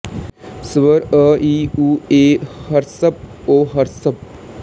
ਸਵਰ ਅ ਇ ਉ ਏ ਹ੍ਰਸਵ ਓ ਹ੍ਰਸਵ